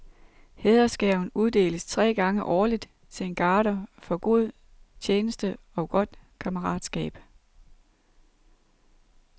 Hædersgaven uddeles tre gange årligt til en garder for god tjeneste og godt kammeratskab.